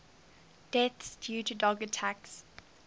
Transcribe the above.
deaths due to dog attacks